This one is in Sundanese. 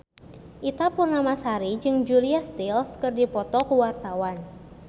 Ita Purnamasari jeung Julia Stiles keur dipoto ku wartawan